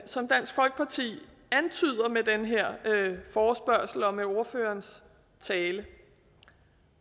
som dansk folkeparti antyder med den her forespørgsel og med ordførerens tale